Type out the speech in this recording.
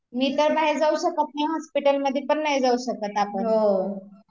मी तर बाहेर जाऊ शकत नाही हॉस्पिटल मध्ये पण नाही जाऊ शकत आपण